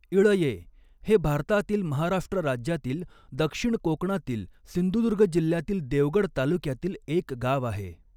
इळये हे भारतातील महाराष्ट्र राज्यातील दक्षिण कोकणातील सिंधुदुर्ग जिल्ह्यातील देवगड तालुक्यातील एक गाव आहे.